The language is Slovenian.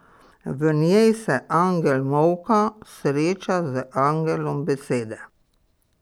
V njej se angel Molka sreča z angelom Besede.